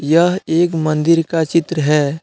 यह एक मंदिर का चित्र है।